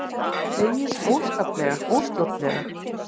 Hlegið óskaplega, óstjórnlega.